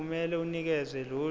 kumele unikeze lolu